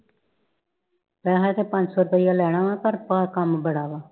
ਪੈਸੇ ਤੇ ਪੰਜ ਸੋ ਰੁਪਈਆ ਲੈਣਾ ਵਾ ਪਰ ਪਾ ਕਮ ਬੜਾ ਵਾ